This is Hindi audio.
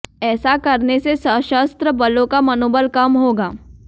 ऐसा करने से सशस्त्र बलों का मनोबल कम होगा